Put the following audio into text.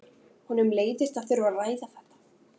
Honum leiðist að þurfa að ræða þetta.